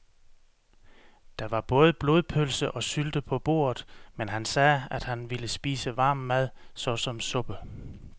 Der var både blodpølse og sylte på bordet, men han sagde, at han bare ville spise varm mad såsom suppe.